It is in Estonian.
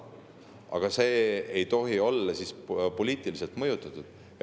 Aga see ei tohi olla poliitiliselt mõjutatud.